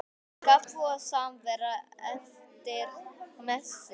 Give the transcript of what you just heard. Kaffi og samvera eftir messu.